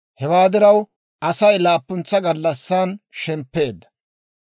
Hewaa diraw, Asay laappuntsa gallassan shemppeedda.